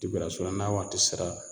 n'a waati sera